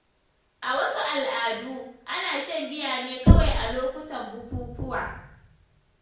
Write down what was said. A wasu al’adu, ana shan giya ne kawai a lokutan bukukuwa.